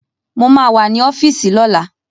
Mo ma wà ní ọ́fíìsì lọ́la